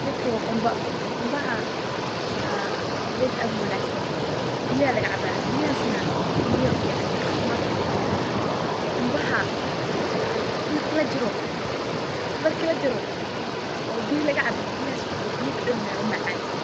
Gedkan waa qumba, qumbaha waa ged aad uwanaagsan, biya laga cabaa, biyahas na keliyaha ayay u fican yihiin caafimadku oron yehe, qumbaha marki lajaro oo biya laga cabo biyahas waa biya dhadhan leh oo macaan.